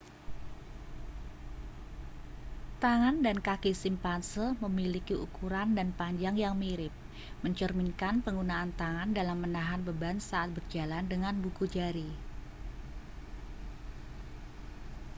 tangan dan kaki simpanse memiliki ukuran dan panjang yang mirip mencerminkan penggunaan tangan dalam menahan beban saat berjalan dengan buku jari